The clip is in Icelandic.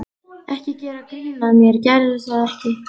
Ekki gera grín að mér, gerðu það ekki.